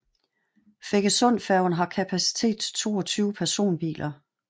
Feggesundfærgen har kapacitet til 22 personbiler